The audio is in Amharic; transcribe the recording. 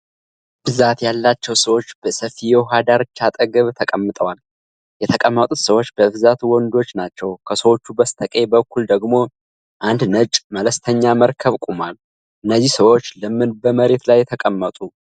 ብዛት ያላቸው ሰዎች በሰፊ የዉሃ ዳርቻ አጠገብ ተቀምጠዋል። የተቀመጡት ሰዎች በብዛት ወንዶች ናቸው። ከሰዎቹ በስተቀኝ በኩል ደግሞ አንድ ነጭ መለስተኛ መርከብ ቆሟል። እነዚህ ሰዎች ለምን በመሬት ላይ ተቀመጡ?